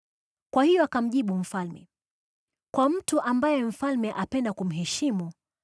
Kwa hiyo akamjibu mfalme, “Kwa mtu ambaye mfalme apenda kumheshimu,